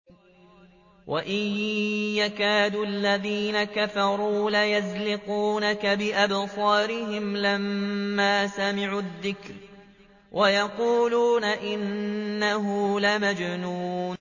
وَإِن يَكَادُ الَّذِينَ كَفَرُوا لَيُزْلِقُونَكَ بِأَبْصَارِهِمْ لَمَّا سَمِعُوا الذِّكْرَ وَيَقُولُونَ إِنَّهُ لَمَجْنُونٌ